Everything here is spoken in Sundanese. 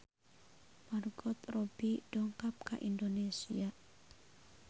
Margot Robbie dongkap ka Indonesia